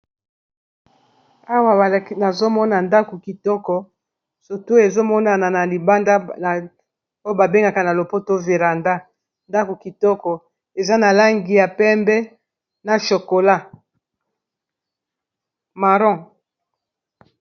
Awa nazomona ndako kitoko sotu ezomonana na libanda oyo ba bengaka na lopoto veranda ndako kitoko eza na langi ya pembe na chokola, maron.